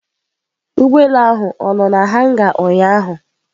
Ụgbọelu ahụ ọ nọ na hanga ụnyaahụ